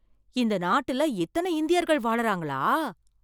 இந்த நாட்டுல இத்தனை இந்தியர்கள் வாழுறாங்களா!